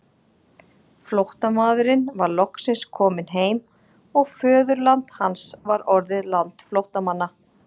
Flóttamaðurinn var loksins kominn heim og föðurland hans var orðið land flóttamanna.